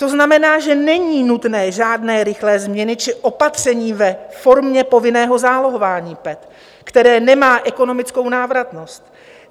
To znamená, že není nutné žádné rychlé změny či opatření ve formě povinného zálohování PET, které nemá ekonomickou návratnost.